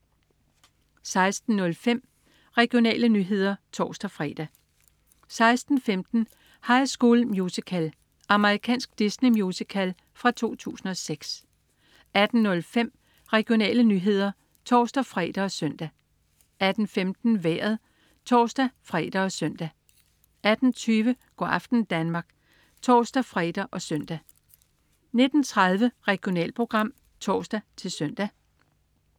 16.05 Regionale nyheder (tors-fre) 16.15 High School Musical. Amerikansk Disney-musical fra 2006 18.05 Regionale nyheder (tors-fre og søn) 18.15 Vejret (tors-fre og søn) 18.20 Go' aften Danmark (tors-fre og søn) 19.30 Regionalprogram (tors-søn)